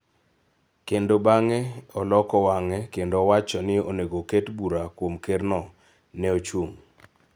kendo bang�e oloko wang�e kendo owacho ni onego oket bura kuom Kerno? ne ochung�.